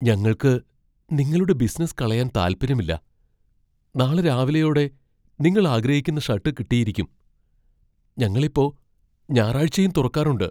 ഞങ്ങൾക്ക് നിങ്ങളുടെ ബിസിനസ്സ് കളയാൻ താൽപര്യമില്ല, നാളെ രാവിലെയോടെ നിങ്ങളാഗ്രഹിക്കുന്ന ഷർട്ട് കിട്ടിയിരിക്കും. ഞങ്ങൾ ഇപ്പോ ഞായറാഴ്ചയും തുറക്കാറുണ്ട്.